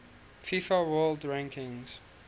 fifa world rankings